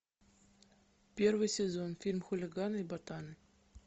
первый сезон фильм хулиганы и ботаны